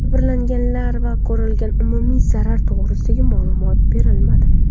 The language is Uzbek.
Jabrlanganlar va ko‘rilgan umumiy zarar to‘g‘risida ma’lumot berilmadi.